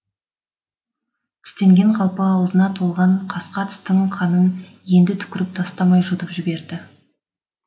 тістенген қалпы аузына толған қасқа тістің қанын енді түкіріп тастамай жұтып жіберді